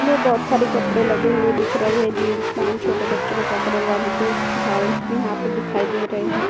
बोहोत सारे कपड़े लगे दिख रहे हैं जींस पैन्ट छोटे बच्चों के कपड़े वन पीस गाउनस भी यहां पर दिख रहे हैं।